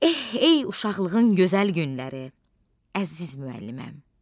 Eh, ey uşaqlığın gözəl günləri, əziz müəlliməm!